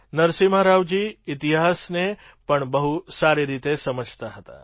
નરસિમ્હા રાવજી ઇતિહાસને પણ બહુ સારી રીતે સમજતા હતા